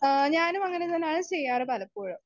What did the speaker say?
Speaker 1 ആ ഞാനും അങ്ങനെ ചെയ്യാറാണ് പലപ്പോഴും.